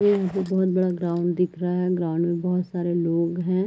ये मुझे बहोत बड़ा ग्राउंड दिख रहा है। ग्राउंड में बहोत सारे लोग है।